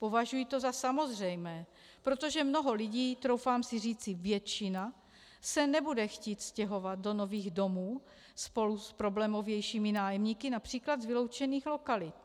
Považuji to za samozřejmé, protože mnoho lidí, troufám si říci většina, se nebude chtít stěhovat do nových domů spolu s problémovějšími nájemníky například z vyloučených lokalit.